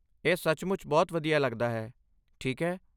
ਇਹ ਸੱਚਮੁੱਚ ਬਹੁਤ ਵਧੀਆ ਲੱਗਦਾ ਹੈ, ਠੀਕ ਹੈ?